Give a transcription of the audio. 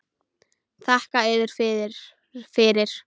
Þakka yður fyrir.